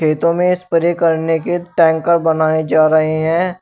खेतों में स्प्रे करने के टैंकर बनाए जा रहे हैं।